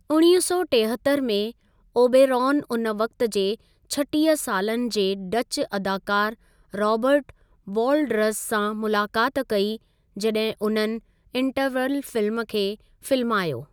उणिवींह सौ टेहतरि में ओबेरॉन उन वक़्ति जे छटीह सालनि जे डच अदाकार राबर्ट वॉलडरज़ सां मुलाक़ात कई जॾहिं उन्हनि इंटरवल फिल्म खे फ़िल्मायो।